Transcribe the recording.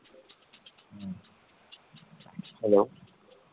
Hello